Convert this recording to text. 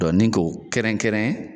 ni ko kɛrɛnkɛrɛn